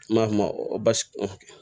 An b'a f'o ma ko basi